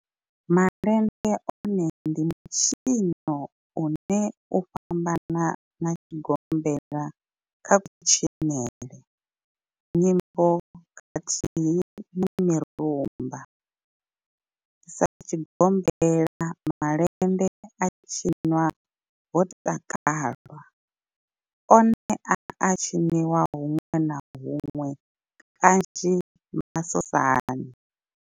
Malende one ndi mitshino une u a fhambana na tshigombela kha kutshinele, nyimbo khathihi na mirumba. Sa tshigombela, malende a tshinwa ho takalwa, one a a tshiniwa hunwe na hunwe kanzhi masosani.